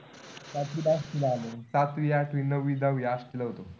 सातवीला इथं आलो. सातवी, आठवी, नववी, दहावी आष्टीला होतो.